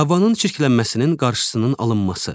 Havanın çirklənməsinin qarşısının alınması.